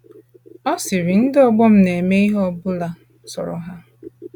Ọ sịrị: Ndị ọgbọ m na - eme ihe ọ bụla sọrọ ha.